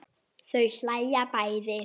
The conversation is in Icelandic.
Þau hlæja bæði.